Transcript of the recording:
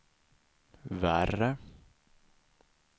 värre